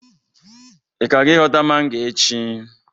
ị ka ga ịhota mango echi?